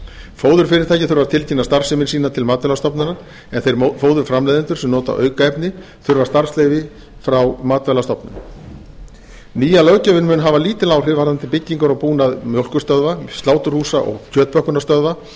fóðurfyrirtæki þurfa að tilkynna starfsemi sína til matvælastofnunar en þeir fóðurframleiðendur sem nota aukefni þurfa starfsleyfi frá matvælastofnun nýja löggjöfin mun hafa lítil áhrif varðandi byggingar og búnað mjólkurstöðva sláturhúsa og kjötpökkunarstöðva því